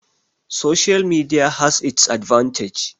Social Media has its advantage